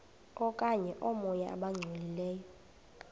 okanye oomoya abangcolileyo